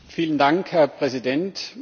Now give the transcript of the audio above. Vielen Dank, Herr Präsident!